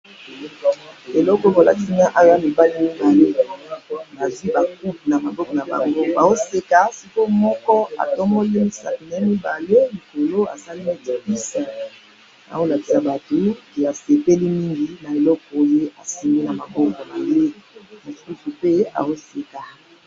Eloko balakisi nga awa eza mibali mibale, bazwi ba coupe namaboko nabango, baoseka sikoo moko atomboli misapi nee mibale mutuango asali neti peace, aolakisa batu ke asepeli mingi na eloko ye asimbi namaboko naye, mususu pe aoseka.